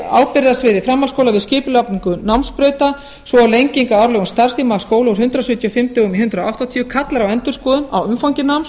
ábyrgð á sviði framhaldsskóla við skipulagningu námsbrauta svo og lenging á árlegum starfstíma skóla úr hundrað sjötíu og fimm dögum í hundrað áttatíu kallar á endurskoðun á umfangi náms